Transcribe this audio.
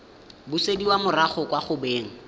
busediwa morago kwa go beng